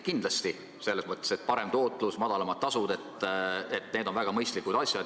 Kindlasti on parem tootlus ja madalamad tasud väga mõistlikud asjad.